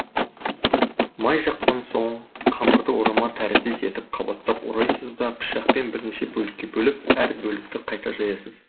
май жаққан соң қамырды орама тәріздес етіп қабаттап орайсыз да пышақпен бірнеше бөлікке бөліп әр бөлікті қайта жаясыз